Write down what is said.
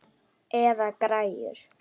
Eða græjur.